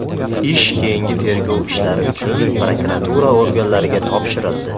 Ish keyingi tergov ishlari uchun prokuratura organlariga topshirildi.